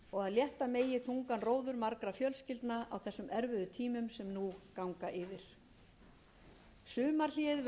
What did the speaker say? megi þungan róður margra fjölskyldna á þeim erfiðu tímum sem nú ganga yfir sumarhléið verður óvenjustutt fundir þingnefnda